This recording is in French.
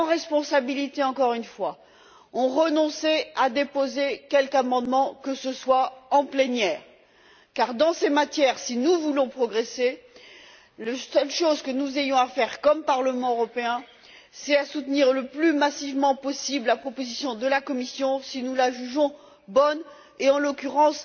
Les socialistes, en responsabilité, encore une fois, ont renoncé à déposer quelque amendement que ce soit en plénière, car dans ces matières, si nous voulons progresser, la seule chose que nous ayons à faire en tant que Parlement européen, c'est soutenir le plus massivement possible la proposition de la Commission si nous la jugeons bonne, ce qui est le cas en l'occurrence.